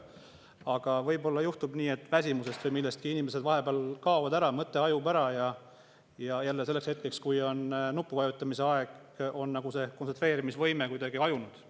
Aga võib-olla juhtub nii, et väsimusest või millestki inimesed vahepeal kaovad ära, mõte hajub ja selleks hetkeks, kui on nupu vajutamise aeg, on kontsentreerumisvõime nagu kuidagi hajunud.